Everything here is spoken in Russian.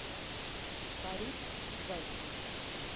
фарид гасин